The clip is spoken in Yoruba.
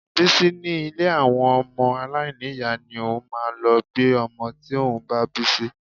Bísí ní ilé àwọn ọmọ aláìní ìyá ni òun máa lọ gbé ọmọ tí òun bá bí sí